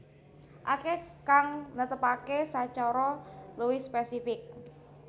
Akèh kang netepaké sacara luwih spésifik